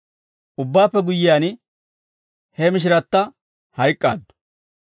Ubbaappe guyyiyaan, he mishiratta hayk'k'aaddu.